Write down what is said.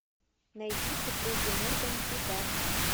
найди супруги морган в бегах